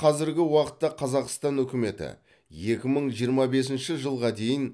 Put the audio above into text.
қазіргі уақытта қазақстан үкіметі екі мың жиырма бесінші жылға дейін